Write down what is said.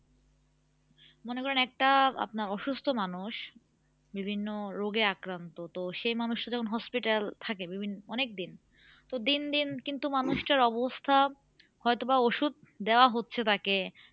মনে করেন একটা আপনার অসুস্থ মানুষ বিভিন্ন রোগে আক্রান্ত তো সে মানুষটা যখন hospital এ থাকে দুদিন অনেক দিন তো দিনদিন কিন্তু মানুষটার অবস্থা হয়তো বা ওষুধ দেওয়া হচ্ছে তাকে